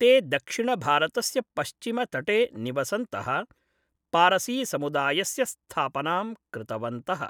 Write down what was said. ते दक्षिणभारतस्य पश्चिमतटे निवसन्तः, पारसीसमुदायस्य स्थापनां कृतवन्तः।